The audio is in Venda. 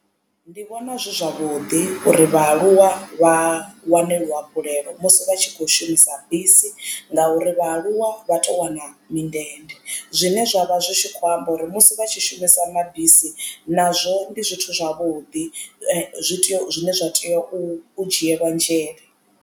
Ndi vhona zwi zwavhuḓi uri vhaaluwa vha wane luhafhulelo musi vha tshi kho shumisa bisi ngauri vhaaluwa vha to wana mindende zwine zwa vha zwi tshi kho amba uri musi vha tshi shumisa mabisi nazwo ndi zwithu zwavhuḓi zwi tea zwine zwa tea u dzhielwa nzhele.